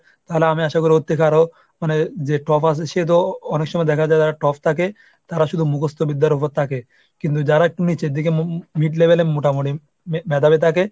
তাহলে আমি আশা করি ওর থেকে আরও মানে যে top আসে সে তো অনেক সময় দেখা যায় যে যারা top থাকে তারা শুধু মুখস্ত বিদ্যার উপর থাকে। কিন্তু যারা একটু নিজের দিকে m~ mid level এর মোটামুটি মে~ মেধাবী থাকে,